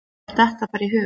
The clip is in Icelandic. Mér datt það bara í hug.